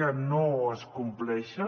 que no es compleixen